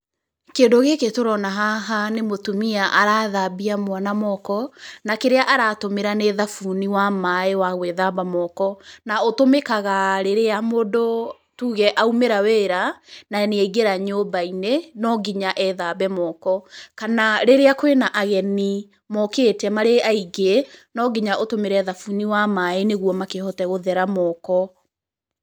Kĩndũ gĩkĩ tũrona haha nĩ mũtumia arathambia mwana moko na kĩrĩa aratũmĩra nĩ thabuni wa maaĩ wa gũĩthamba moko. Na ũtũmĩkaga rĩrĩa mũndũ tuge aumĩra wĩra, na nĩ aingĩra nyũmba-inĩ, no nginya ethambe moko, kana rĩrĩa kwĩna ageni mokĩte marĩ aingĩ, no nginya ũtũmĩre thabuni wa maaĩ, nĩguo makĩhote gũthera moko.